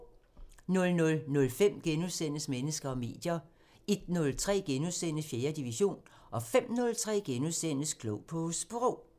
00:05: Mennesker og medier * 01:03: 4. division * 05:03: Klog på Sprog *